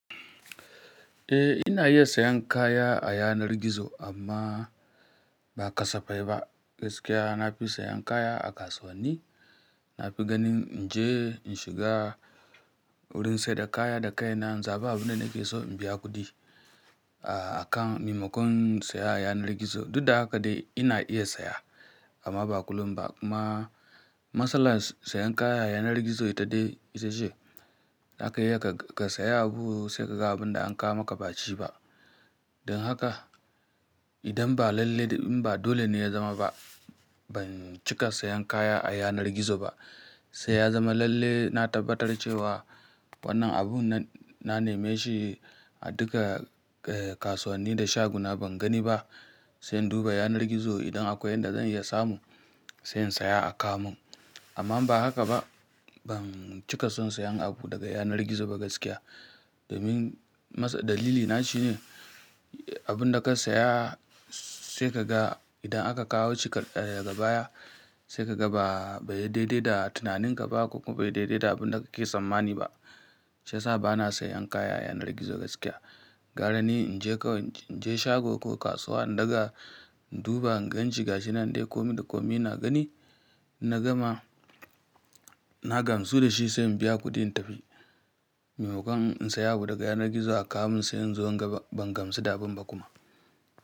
Eh ina iya siyan kaya a yanar gizo amma ba kasafai ba. Gaskiya na fi sayan kaya a kasuwanni. Na fi ganin in je in shiga wurin sayar da kaya da kai na, in zaɓa abin da nake so in biya kuɗi a kan maimakon saya a yanar gizo. Duk da haka dai ina iya saya amma ba kullum ba. Kuma matsalar sayan kaya a yanar gizo ita ce, zaka iya ka siya abu sai ka ga abin da aka kawo maka ba shi ba. Don haka idan ba lalle in ba dole ne ya zama ba, ban cika sayan kaya a yanar gizo ba. Sai ya zama lalle na tabbatar cewa wannan abun na neme shi a duka kasuwanni da shaguna ban gani ba, sai in duba yanar gizo idan akwai yadda zan iya samu, sai in siya a kawo mun. Amma ba haka ba, ban cika son sayan abu daga yanar gizo ba gaskiya. Domin dalilina shine abun da ka saya sai ka ga idan aka kawo shi daga baya, sai ka ga ba ya daidai da tunaninka ba ko kuma bai daidai da abin da kake tsammani ba. Shiyasa bana sayan kaya a yanar gizo gaskiya. Gara ni in je shago ko kasuwa in ɗaga in duba, in gan shi gashi nan dai komi da komi na gani, na gama, na gamsu da shi sai in biya kuɗin in tafi. Maimakon in siya abu daga yanar gizo a kawo mun sai in zo in ga ban gamsu da abin ba kuma.